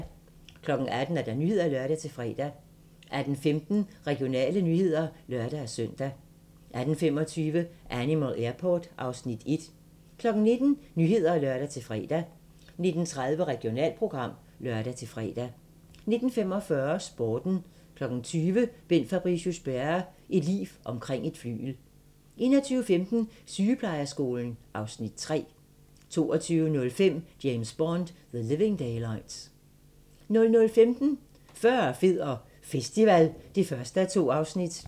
18:00: Nyhederne (lør-fre) 18:15: Regionale nyheder (lør-søn) 18:25: Animal Airport (Afs. 1) 19:00: Nyhederne (lør-fre) 19:30: Regionalprogram (lør-fre) 19:45: Sporten 20:00: Bent Fabricius-Bjerre - et liv omkring et flygel 21:15: Sygeplejeskolen (Afs. 3) 22:05: James Bond: The Living Daylights 00:15: Fyrre, fed og festival (1:2)